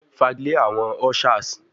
Fagilee awọn ushers